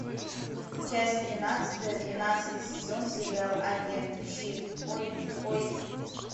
часть тринадцатая двенадцатый сезон сериал агенты щит ой ой